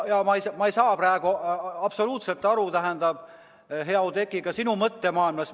Ma ei saa absoluutselt aru, hea Oudekki, ka sinu mõttemaailmast.